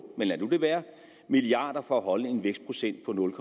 milliard være for at holde en vækstprocent på nul